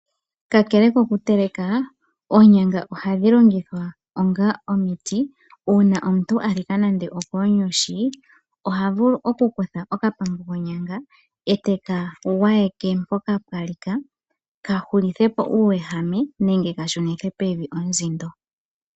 Ka kele okuteleka. Oonyanga ohadhi longithwa onga omiti, uuna nande omuntu okwa lika konyushi, oha vulu Lou kutha oka pambu konyanga, eta gwayeke mpoka okwa lika ka hulithe po uuwehame, nenge ka shunithe pevi onzindo.